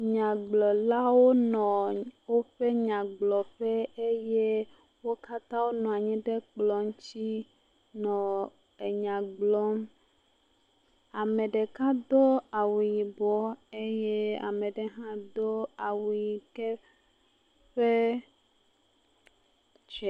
Nyagblɔlawo nɔ woƒe nyagblɔƒe eye wo katã wonɔ nayi ɖe kplɔ ŋuti nɔ enya gblɔm, ame ɖeka do awu yibɔ eye ame ɖe hã do awu ʋi ke ƒee.